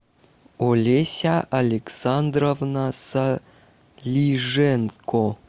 олеся александровна салиженко